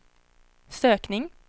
sökning